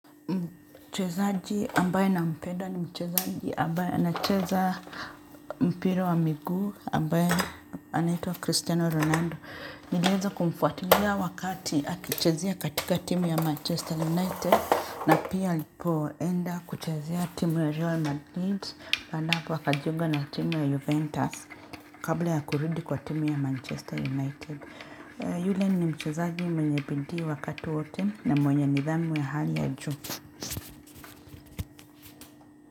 Mchezaji ambaye nampenda ni mchezaji ambaye anacheza mpira wa miguu ambaye anaitwa Cristiano Ronaldo. Niliweza kumfuatilia wakati akichezea katika timu ya Manchester United na pia alipoenda kuchezea timu ya Real Madrid, baada ya hapo akajiunga na timu ya Juventus kabla ya kurudi kwa timu ya Manchester United. Yule ni mchezaaji mwenye bidii wakati wote na mwenye nidhamu ya hali ya juu.